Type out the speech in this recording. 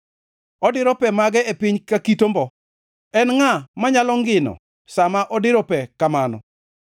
Odiro pe mage e piny ka kit ombo. En ngʼa manyalo ngino sa ma odiro pe kamano?